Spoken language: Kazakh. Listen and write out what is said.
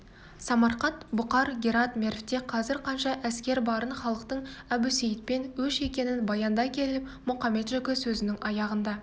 самарқант бұқар герат мервте қазір қанша әскер барын халықтың әбусейітпен өш екенін баяндай келіп мұқамет-жөкі сөзінің аяғында